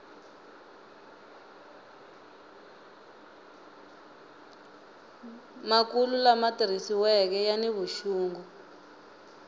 makulu lama tirhisiweke yani vuxungi